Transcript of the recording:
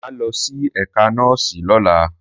Mà á lọ sí ẹ̀ka nọ́ọ̀sì lọ́la